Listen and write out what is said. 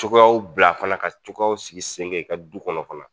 Cogoyaw bila fana ka cogoyaw sigi sen kan i ka du kɔnɔ.